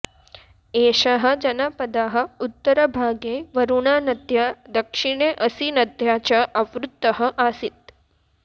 एषः जनपदः उत्तरभागे वरुणानद्या दक्षिणे असिनद्या च आवृतः आसीत्